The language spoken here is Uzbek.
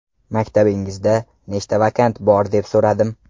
Maktabingizda nechta vakant bor deb so‘radim.